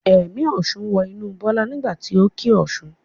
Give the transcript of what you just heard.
Ẹ̀mí ọ̀ṣun wọ inú Bọ́lá nígbà tí o kí Ọ̀ṣun.